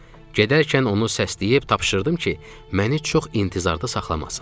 Gedərkən onu səsləyib tapşırdım ki, məni çox intizarda saxlamasın.